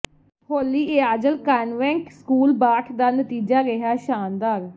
ਹੋਲੀ Angel Convent School Baath ਦਾ ਨਤੀਜਾ ਰਿਹੈ ਸ਼ਾਨਦਾਰ